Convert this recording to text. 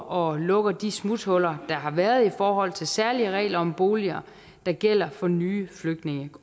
og lukker de smuthuller der har været i forhold til særlige regler om boliger der gælder for nye flygtninge